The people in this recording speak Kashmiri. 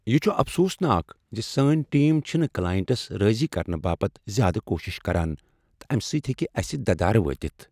یہ چھ افسوٗس ناک ز سٲنۍ ٹیم چھنہٕ کلاینٹس راضۍ کرنہٕ باپت زیادٕ کوشش کران تہٕ امہ سۭتۍ ہیٚکہ اسہ ددارٕ وٲتِتھ۔